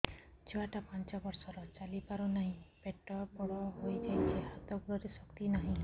ଛୁଆଟା ପାଞ୍ଚ ବର୍ଷର ଚାଲି ପାରୁ ନାହି ପେଟ ବଡ଼ ହୋଇ ଯାଇଛି ହାତ ଗୋଡ଼ରେ ଶକ୍ତି ନାହିଁ